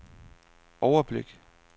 overblik